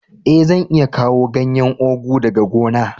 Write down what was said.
Eh, zan iya kawo ganyen ugu daga gona.